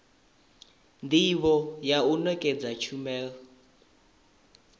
ndivho ya u nekedza tshumelo